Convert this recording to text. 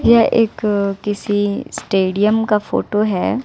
यह एक किसी स्टेडियम का फोटो है।